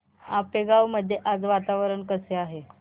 आपेगाव मध्ये आज वातावरण कसे आहे